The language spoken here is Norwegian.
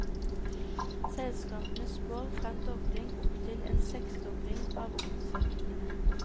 Selskapene spår fra en dobling opptil en seksdobling av omsetningen.